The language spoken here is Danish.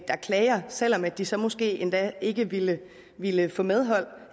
der klager selv om de så måske endda ikke ville ville få medhold